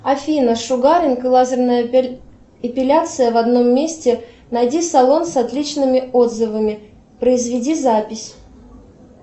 афина шугаринг и лазерная эпиляция в одном месте найди салон с отличными отзывами произведи запись